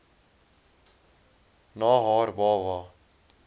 na haar baba